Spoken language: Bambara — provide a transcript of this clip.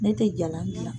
Ne tɛ jalan gilan